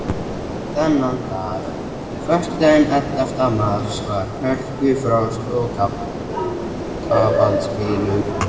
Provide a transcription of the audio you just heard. Þennan dag, föstudaginn ellefta mars, var hörkufrost og kafaldsbylur.